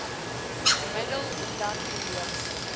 middel omdat kondome